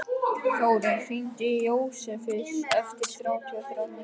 Þórir, hringdu í Jósefus eftir þrjátíu og þrjár mínútur.